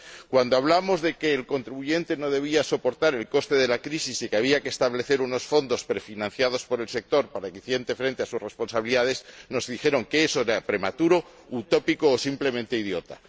Cuando hablamos de que el contribuyente no debía soportar el coste de la crisis y que había que establecer unos fondos prefinanciados por el sector para hacer frente a sus responsabilidades, nos dijeron que eso era prematuro, utópico o simplemente idiota.